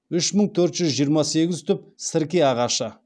үш мың төрт жүз жиырма сегіз түп сірке ағашы